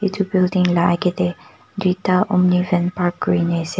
edu building la akae tae tuita omni van park kurine ase--